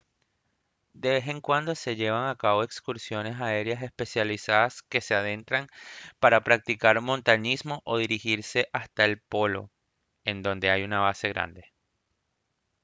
de vez en cuando se llevan a cabo excursiones aéreas especializadas que se adentran para practicar montañismo o dirigirse hasta el polo en donde hay una base grande